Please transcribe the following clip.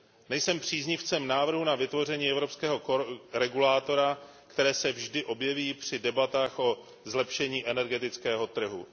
Nejsem příznivcem návrhů na vytvoření evropského regulátora, které se vždy objeví při debatách o zlepšení energetického trhu.